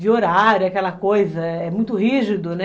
de horário, aquela coisa, é muito rígido, né?